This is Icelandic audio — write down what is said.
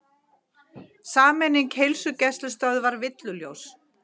Sameining heilsugæslustöðva villuljós